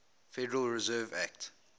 federal reserve act